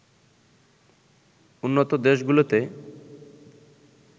উন্নত দেশগুলোতে